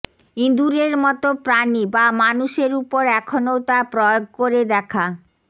ইঁদুরের মতো প্রাণী বা মানুষের উপর এখনও তা প্রয়োগ করে দেখা